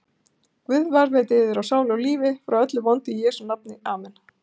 Guð varðveiti yður á sálu og lífi frá öllu vondu í Jesú nafni, amen.